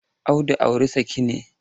Audu auri saki ne.